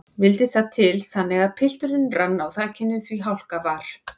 Vildi það til þannig að pilturinn rann á þakinu því hálka var.